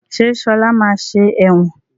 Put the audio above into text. Ṣé Ṣọlá máa ṣe ẹ̀wọ̀n?